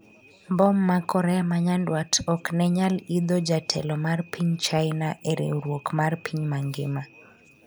mbom ma Korea ma Nyanduat ok nenyal idho jatelo mar piny China e Riwruok mar piny mangima